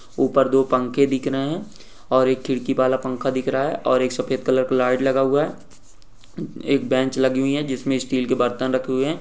ऊपर दो पंखे दिख रहे हैं और एक खिड़की वाला पंखा दिख रहा है और एक सफेद कलर का लाइट लगा हुआ है। एक बेंच लगी हुई है जिसमे स्टील के बर्तन रखे हुए हैं।